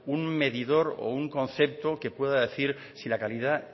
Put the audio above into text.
un medidor o un concepto que pueda decir si la calidad